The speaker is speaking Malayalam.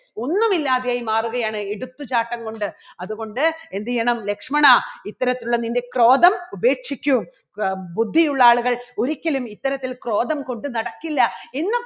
ഒന്നുമില്ലാതെയായി മാറുകയാണ് എടുത്തുചാട്ടം കൊണ്ട് അതുകൊണ്ട് എന്ത് ചെയ്യണം ലക്ഷ്മണാ ഇത്തരത്തിലുള്ള നിൻറെ ക്രോധം ഉപേക്ഷിക്കും അ ബുദ്ധിയുള്ള ആളുകൾ ഒരിക്കലും ഇത്തരത്തിൽ ക്രോധം കൊണ്ടു നടക്കില്ല എന്ന്